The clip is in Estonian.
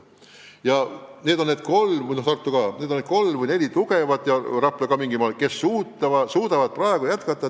Ja need kolm, samuti Tartu ja mingil moel ka Rapla ongi liidud, kes suudavad praegu tegevust jätkata.